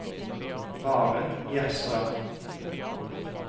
Maren Gjerstad